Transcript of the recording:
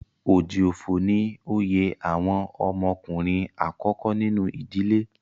Oji Ofo ni oyè àwọn ọmọ ọkùnrin àkọ́kọ́ nínú ìdílé.